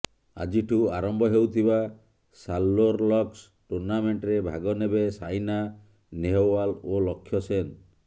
ଆଜିଠୁ ଆରମ୍ଭ ହେଉଥିବା ସାରଲୋରଲକ୍ସ ଟୁର୍ଣ୍ଣାମେଣ୍ଟରେ ଭାଗ ନେବେ ସାଇନା ନେହୱାଲ ଓ ଲକ୍ଷ ସେନ